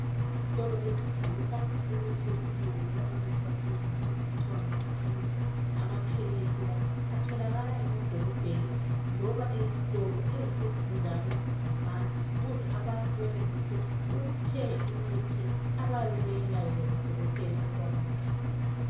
Izitolo ezithengisa imithi yesilungu loba imithi yakulezinsuku kuthiwa ngamakhemesi .Ama khemesi la atholakala emadolobheni loba ezitolo eziseduzane labantu ukuze abantu benelise ukuthenga imithi abayabe beyilayelwe ngo dokotela ukuba bayithenge.